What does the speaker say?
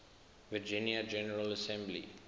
virginia general assembly